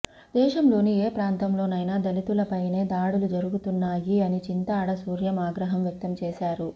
దేశం లోని ఏప్రాంతంలోనైనా దళితులపైనే దాడులు జరుగుతున్నాయి అని చింతాడ సూర్యం ఆగ్రహం వ్యక్తం చేసారు